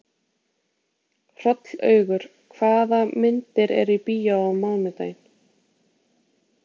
Hrollaugur, hvaða myndir eru í bíó á mánudaginn?